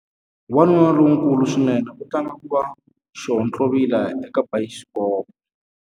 Wanuna lonkulu swinene u tlanga ku va xihontlovila eka bayisikopo.